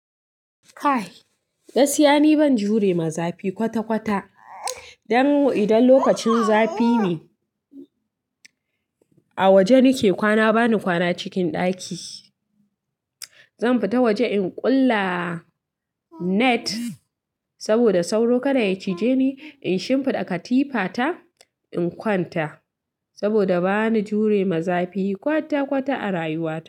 Kai! Gaskiya ni ban jure ma zafi kwata-kwata. Idan lokacin zafi ne a waje nake kwana bani kwana cikin ɗaki. Zan fita waje in ƙulla net saboda sauro kada ya cije ni. In shimfiɗa katifa ta in kwanta saboda bani jure ma zafi kwata-kwata a rayuwa.